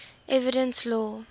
evidence law